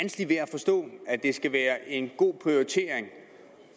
forstå at det skal være en god prioritering